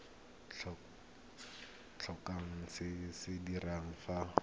tlhokang go se dira fa